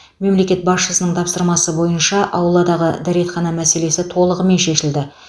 мемлекет басшысының тапсырмасы бойынша ауладағы дәретхана мәселесі толығымен шешілді